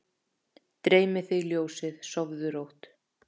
Dreymi þig ljósið, sofðu rótt